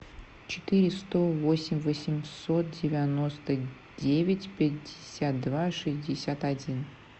четыре сто восемь восемьсот девяносто девять пятьдесят два шестьдесят один